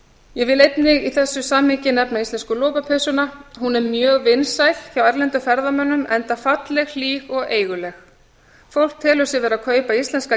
ég vil einnig í þessu samhengi nefna íslensku lopapeysuna hún er mjög vinsæl hjá erlendum ferðamönnum enda falleg hlý og eiguleg fólk telur sig vera að kaupa íslenska